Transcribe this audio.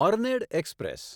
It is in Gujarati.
earned express